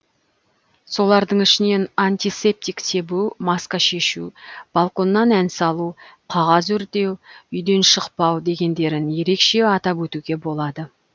солардың ішінен антисептик себу маска шешу балконнан ән салу қағаз өртеу үйден шықпау дегендерін ерекше атап өтуге болады